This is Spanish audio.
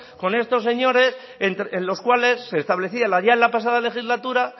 con estos señores en los cuales se establecía ya en la pasada legislatura